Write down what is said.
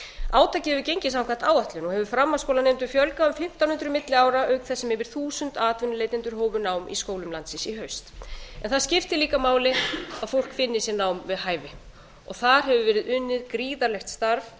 átakið hefur gengið samkvæmt áætlun og hefur framhaldsskólanemendum fjölgað um fimmtán hundruð milli ára auk þess sem yfir þúsund atvinnuleitendur hófu nám í skólum landsins í haust en það skiptir líka máli að fólk finni sér nám við hæfi og þar hefur verið unnið gríðarlegt starf